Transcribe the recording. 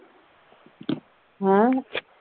ਹੈਂ?